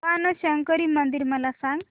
बाणशंकरी मंदिर मला सांग